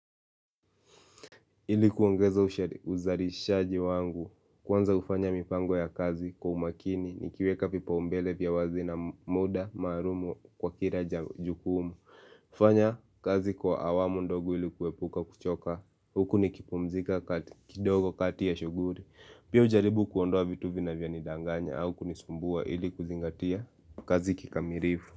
Ili kuongeza uzalishaji wangu kwanza ufanya mipango ya kazi kwa umakini ni kiweka vipa umbele vya wazi na muda maalumu kwa kila ja jukumu ufanya kazi kwa awamu ndogo ilikuwepuka kuchoka huku nikipumzika kidogo katia shuguli Pia ujaribu kuondoa vitu vinavyo nidanganya au kunisumbua ili kuzingatia kazi kikamilifu.